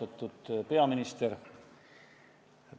Austatud peaminister!